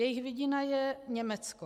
Jejich vidina je Německo.